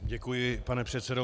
Děkuji, pane předsedo.